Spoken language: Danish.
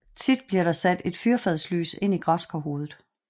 Tit bliver der sat et fyrfadslys ind i græskarhovedet